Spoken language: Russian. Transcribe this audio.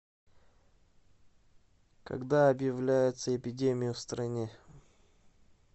когда объявляется эпидемия в стране